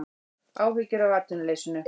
Áhyggjur af atvinnuleysinu